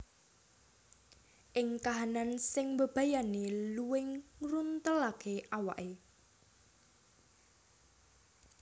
Ing kahanan sing mbebayani luwing ngruntelaké awaké